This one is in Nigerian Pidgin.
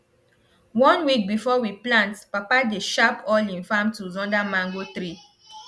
one week before we plant papa dey sharp all him farm tools under mango tree